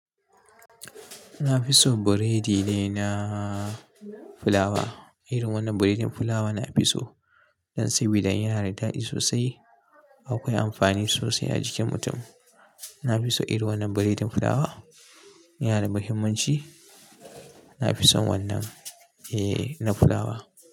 Na fi son buredi ne na fulawa. Irin wannan buredin fulawa na fi so. Don sabida in yana da daɗi sosai akwai amfani sosai a jikin mutum. Na fi so irin wannan buredin fulawa. Yana da muhimmanci. Na fi son wannan. Eh, na fulawa.